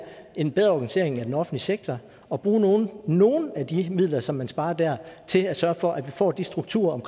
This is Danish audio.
en bedre organisering af den offentlige sektor og bruge nogle nogle af de midler som man sparer der til at sørge for at vi får de strukturer